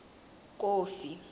kofi